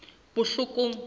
botlhokong